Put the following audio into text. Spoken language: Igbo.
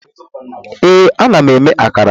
Ee, ana m eme akara